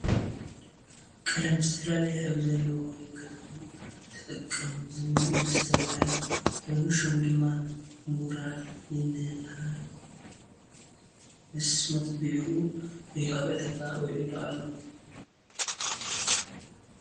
ቀለም ዝተፈላለየ ሕብሪ ዘለዎ ንግዛኩም ተጠቀሙ ዝብል መስታወያ ኮይኑ ሹሙ ድማ ሙራል ይንሃል ምስ ምቅቢኡኡ እዩ ኣብ ዕዳጋ ዊዕሉ ዘሎ ።